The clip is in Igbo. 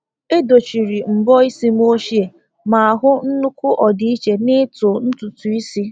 E dochiri mbo isi m ochie ma hụ nnukwu ọdịiche n’ịtụ ntutu isi.